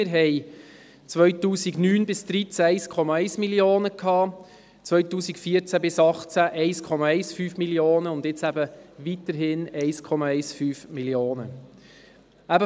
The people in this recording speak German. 2009–2013 waren es 1,1 Mio. Franken, 2014–2018 1,15 Mio. Franken, und jetzt beläuft sich der Kredit auch weiterhin auf 1,15 Mio. Franken.